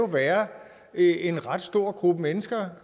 være en ret stor gruppe mennesker